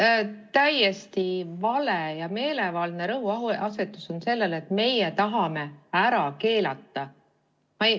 See on täiesti vale ja meelevaldne rõhuasetus, et meie tahame ära keelata.